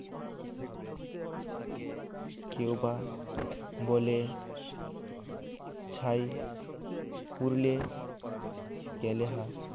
কেউবা বলে ছাই পুড়লে গেলে হা